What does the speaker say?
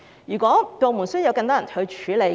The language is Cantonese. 如果部門需要更多人手，便增聘人手。